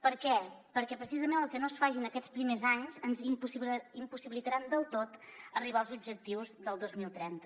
per què perquè precisament el que no es faci en aquests primers anys ens impossibilitarà del tot arribar als objectius del dos mil trenta